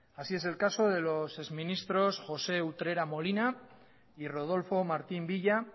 así es el caso de los ex ministros josé utrera molina y rodolfo martín villa